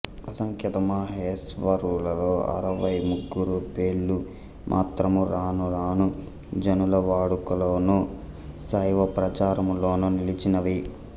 అసంఖ్యాతమహేశ్వరులలో అరవైముగ్గుర పేళ్ళు మాత్రము రానురాను జనుల వాడుకలోను శైవప్రచారములోను నిలిచినవి